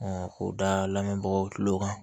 k'o da lamɛnbagaw tulo kan